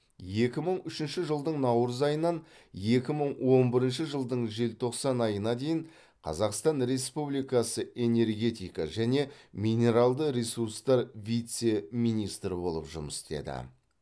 екі мың үшінші жылдың наурыз айынан екі мың он бірінші жылдың желтоқсан айына дейін қазақстан республикасы энергетика және минералды ресурстар вице министрі болып жұмыс істеді